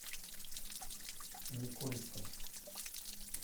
никольска